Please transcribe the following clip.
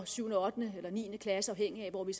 7 ottende eller niende klasse afhængigt af hvor vi